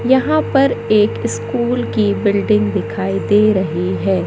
यहां पर एक स्कूल की बिल्डिंग दिखाई दे रही है।